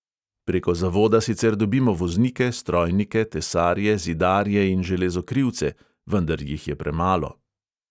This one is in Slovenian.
Preko zavoda sicer dobimo voznike, strojnike, tesarje, zidarje in železokrivce, vendar jih je premalo.